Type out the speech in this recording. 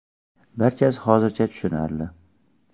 Barchasi hozircha tushunarli.